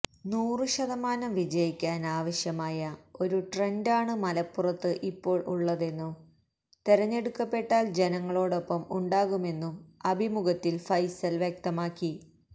നൂറു ശതമാനം വിജയിക്കാൻ ആവശ്യമായ ഒരു ട്രന്റാണ് മലപ്പുറത്ത് ഇപ്പോൾ ഉള്ളതെന്നും തെരഞ്ഞെടുക്കപ്പെട്ടാൽ ജനങ്ങളോടൊപ്പം ഉണ്ടാകുമെന്നും അഭിമുഖത്തിൽ ഫൈസൽ വ്യക്തമാക്കി